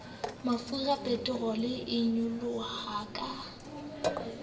mafura peterole e nyoloha ka